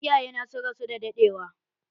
Iyaye na sun rasu da daɗewa.